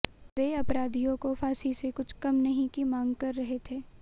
वे अपराधियों को फांसी से कुछ कम नहीं की मांग कर रहे थे